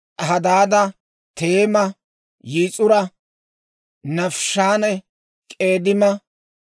Hadaada, Teema, Yis'ura, Naafiishanne K'eedima.